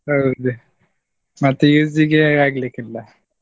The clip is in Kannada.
ಹೌದು, ಮತ್ use ಗೆ ಆಗ್ಲಿಕ್ಕಿಲ್ಲ.